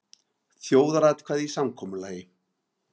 Þjóðaratkvæði í samkomulagi